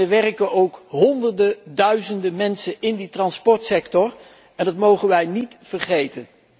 er werken honderden, duizenden mensen in die transportsector en dat mogen wij niet vergeten.